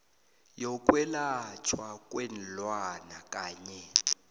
yokwelatjhwa kweenlwana kanye